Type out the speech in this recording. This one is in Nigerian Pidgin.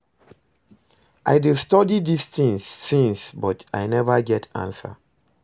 I dey study dis thing since but I never get answer